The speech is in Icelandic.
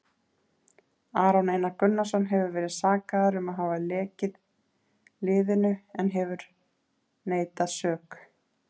Aron Einar Gunnarsson hefur verið sakaður um að hafa lekið liðinu en hefur neitað sök.